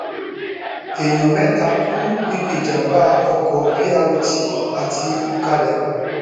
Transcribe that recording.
èèyàn mẹta kú níbi ìjàmbá ọkọ b rt àti ọkadà